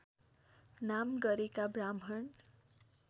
नाम गरेका ब्राह्मण